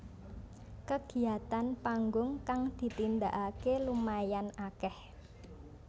Kegiatan panggung kang ditindakake lumayan akeh